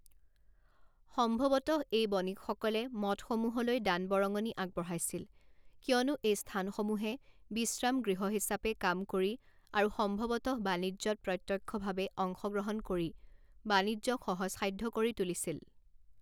সম্ভৱতঃ এই বণিকসকলে মঠসমূহলৈ দান বৰঙণি আগবঢ়াইছিল কিয়নো এই স্থানসমূহে বিশ্ৰাম গৃহ হিচাপে কাম কৰি আৰু সম্ভৱতঃ বাণিজ্যত প্ৰত্যক্ষভাৱে অংশগ্ৰহণ কৰি বাণিজ্যক সহজসাধ্য কৰি তুলিছিল।